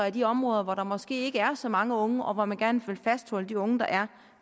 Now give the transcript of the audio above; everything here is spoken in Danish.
i de områder hvor der måske ikke er så mange unge og hvor man gerne vil fastholde de unge der er